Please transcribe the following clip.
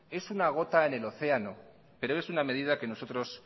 es una gota en el océano pero es una medida que nosotros